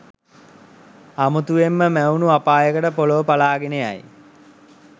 අමුතුවෙන්ම මැවුණු අපායකට පොළව පළාගෙන යයි.